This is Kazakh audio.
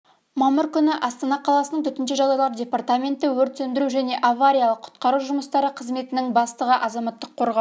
мамыр күні астана қаласының төтенше жағдайлар департаменті өрт сөндіру және авариялық-құтқару жұмыстары қызметінің бастығы азаматтық қорғау